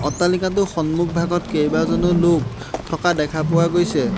অট্টালিকাটোৰ সন্মুখভাগত কেইবাজনো লোক থকা দেখা পোৱা গৈছে।